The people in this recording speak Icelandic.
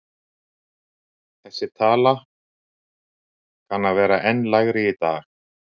Þessi tala kanna að vera enn lægri í dag.